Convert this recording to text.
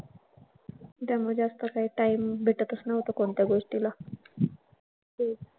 त्यामुळे जास्त काही time भेटतच नव्हतं कोणत्या गोष्टीला. तेच.